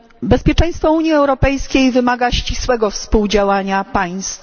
Bezpieczeństwo Unii Europejskiej wymaga ścisłego współdziałania państw.